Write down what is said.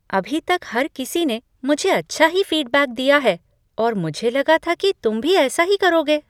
अभी तक हर किसी ने मुझे अच्छा ही फीडबैक दिया है और मुझे लगा था तुम भी ऐसा ही करोगे।